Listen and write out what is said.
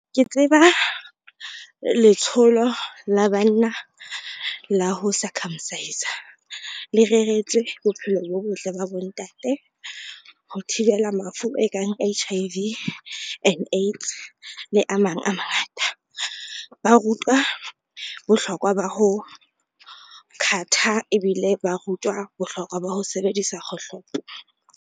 Ke tseba letsholo la banna la ho circumcise-a le reretswe bophelo bo botle ba bontate, ho thibela mafu e kang H_I_V and AIDS le a mang a mangata. Ba rutuwa bohlokwa ba ho cut-a ebile ba rutuwa bohlokwa ba ho sebedisa kgohlopo.